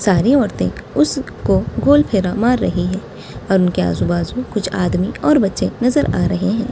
सारी औरतें उसको गोल फेरा मार रही हैं और उनके आजु बाजू कुछ आदमी और बच्चे नजर आ रहे हैं।